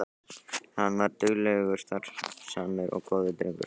Hann var duglegur, starfsamur og góður drengur.